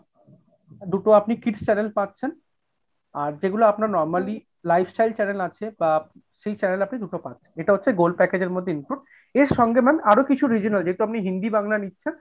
দুটো আপনি kids channel পাচ্ছেন। আর যেগুলো আপনার normally lifestyle channel আছে বা সেই channel আপনি দুটো পাচ্ছেন এটা হচ্ছে gold package এর মধ্যে include এর সঙ্গে ma'am আরো কিছু regional যেহেতু আপনি হিন্দি বাংলা নিচ্ছেন।